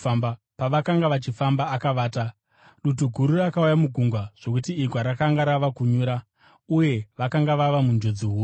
Pavakanga vachifamba, akavata. Dutu guru rakauya mugungwa, zvokuti igwa rakanga rava kunyura, uye vakanga vava munjodzi huru.